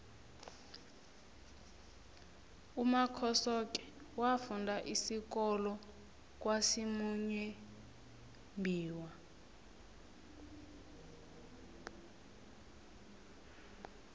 umakhosoke wafunda isikolo kwasimuyembiwa